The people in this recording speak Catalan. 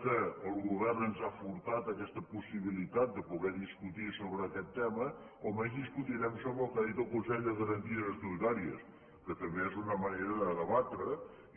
ja que el govern ens ha furtat aquesta possibilitat de poder discutir sobre aquest tema almenys discutirem sobre el que ha dit el consell de garanties estatutàries que també és una manera de debatre